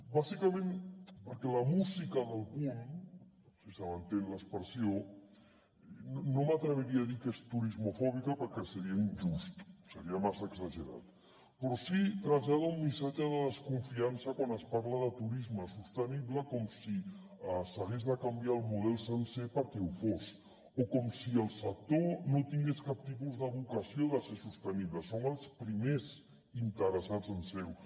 bàsicament perquè la música del punt si se m’entén l’expressió no m’atreviria a dir que és turismofòbica perquè seria injust seria massa exagerat però sí que trasllada un missatge de desconfiança quan es parla de turisme sostenible com si s’hagués de canviar el model sencer perquè ho fos o com si el sector no tingués cap tipus de vocació de ser sostenible són els primers interessats en ser ho